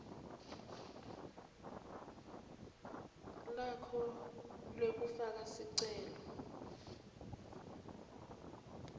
lakho lekufaka sicelo